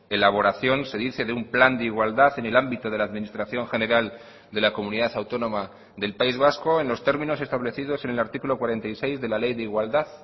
elaboración se dice de un plan de igualdad en el ámbito de la administración general de la comunidad autónoma del país vasco en los términos establecidos en el artículo cuarenta y seis de la ley de igualdad